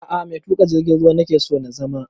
A'a mai tuƙa jirgin ruwa nake so na zama